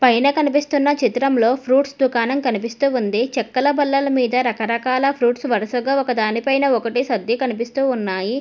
పైన కనిపిస్తున్న చిత్రంలో ఫ్రూట్స్ దుకాణం కనిపిస్తూ ఉంది చెక్కల బల్లల మీద రకరకాల ఫ్రూట్స్ వరుసగా ఒక దాని పైన ఒకటే సర్ది కనిపిస్తూ ఉన్నాయి.